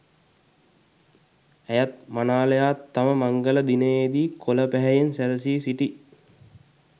ඇයත් මනාලයාත් තම මංගල දිනයේ දී කොළ පැහැයෙන් සැරසී සිටි